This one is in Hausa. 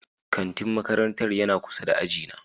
Kantin makarantar yana kusa da ajina.